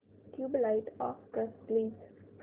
tubelight off कर please